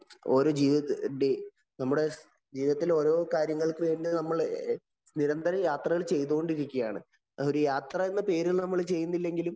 ഓരോ ജീവിതത്തിനു വേണ്ടി നമ്മുടെ ജീവിതത്തിലെ ഓരോ കാര്യങ്ങള്‍ക്കും നമ്മള് നിരന്തരം യാത്രകള്‍ ചെയ്തുകൊണ്ടിരിക്കുകയാണ്. ഒരു യാത്ര എന്ന പേരില്‍ നമ്മള്‍ ചെയ്യുന്നില്ലെങ്കിലും